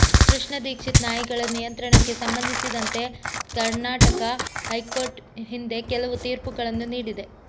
ಕೃಷ್ಣ ದೀಕ್ಷಿತ್ ನಾಯಿಗಳ ನಿಯಂತ್ರಣಕ್ಕೆ ಸಂಬಂಧಿಸಿದಂತೆ ಕರ್ನಾಟಕ ಹೈಕೋರ್ಟ್ ಹಿಂದೆ ಕೆಲವು ತೀರ್ಪುಗಳನ್ನು ನೀಡಿದೆ